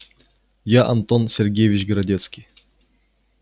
я антон сергеевич городецкий